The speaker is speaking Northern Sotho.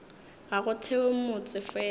ga go thewe motse fela